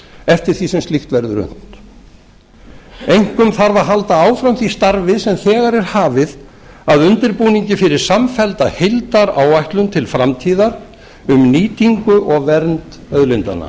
eftir því sem slíkt verður unnt einkum þarf að halda áfram því starfi sem þegar er hafið að undirbúningi fyrir samfellda heildaráætlun til framtíðar um nýtingu og vernd auðlindanna